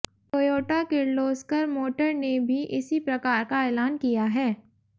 Toyota Kirloskar motor ने भी इसी प्रकार का ऐलान किया है